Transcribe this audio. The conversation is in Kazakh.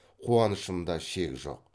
қуаныштымда шек жоқ